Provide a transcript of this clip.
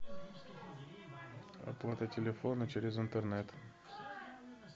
оплата телефона через интернет